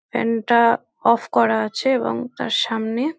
fan টা off করা আছে এবং তার সামনে--